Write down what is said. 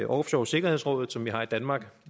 offshoresikkerhedsrådet som vi har i danmark